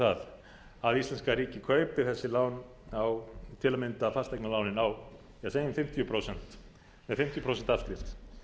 það að íslenska ríkið kaupi þessi lán til að mynda fasteignalánin á segjum fimmtíu prósent afskrift